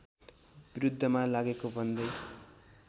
विरुद्धमा लागेको भन्दै